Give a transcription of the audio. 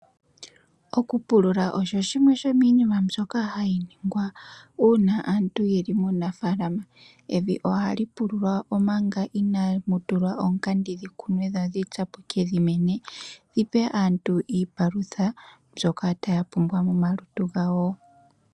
Okupulula osho shimwe shimiinima mbyoka hayi ningwa uuna aantu yeli muunafalama. Evi ohali pululwa omanga inaamu tulwa oonkenya dhikunwe dho dhitsapuke dhimene dhipe aantu iipalutha mbyoka taya pumbwa momalutu gawo.